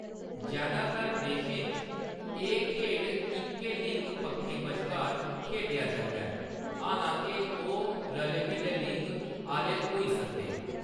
जैदातर देशें च, एह्‌‌ खेढ इक्कै लिंग पक्खें बश्कार खेढेआ जंदा ऐ, हालां-के ओह्‌‌ रले-मिले लिंग आह्‌‌‌ले होई सकदे न।